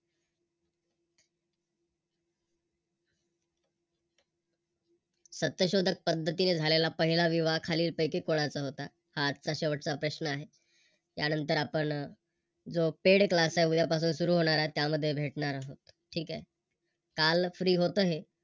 सत्यशोधक पद्धतीने झालेला पहिला विवाह खालील पैकी कोणाचा होता हा आजचा शेवटचा प्रश्न आहे. आहे. त्यानंतर त्यानंतर आपण जो Paid class आहे उद्यापासून सुरू होणार आहे त्यामध्ये भेटणार आहो ठीक आहे. काल Free होत हे